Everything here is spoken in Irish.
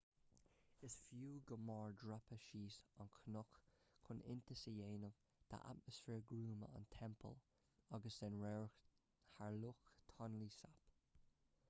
is fiú go mór dreapadh suas an cnoc chun iontas a dhéanamh d'atmaisféar gruama an teampaill agus den radharc thar loch tonle sap